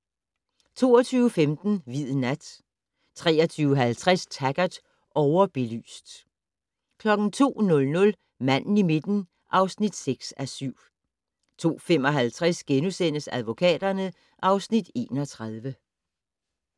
22:15: Hvid nat 23:50: Taggart: Overbelyst 02:00: Manden i midten (6:7) 02:55: Advokaterne (Afs. 31)*